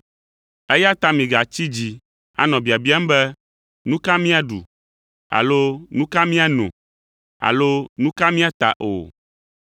Eya ta migatsi dzi anɔ biabiam be, ‘Nu ka míaɖu?’ alo ‘Nu ka miano?’ alo, ‘Nu ka míata?’ o.